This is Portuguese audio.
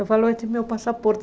Eu falo, esse é meu passaporte.